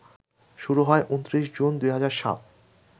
শুরু হয় ২৯ জুন ২০০৭